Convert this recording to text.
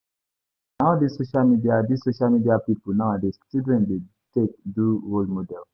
Na all dis social media dis social media pipu nowadays children dey take do role model.